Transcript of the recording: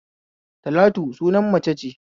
Talatu sunan mace ce